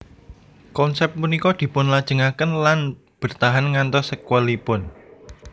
Konsep punika dipunlajengaken lan bertahan ngantos sekuelipun